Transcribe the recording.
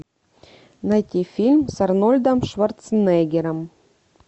найти фильм с арнольдом шварценеггером